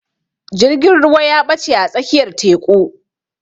Jirgin ruwa ya ɓache a tsakiyar teƙu.